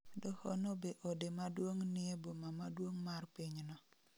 Doho no be ode maduong' nie boma maduong' mar pinyno